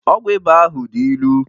Ọgwụ ịba ahu dị ilu